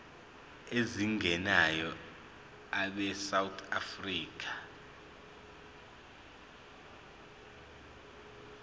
ezingenayo abesouth african